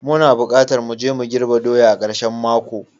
Muna bukatar mu je mu girbe doya a karshen mako.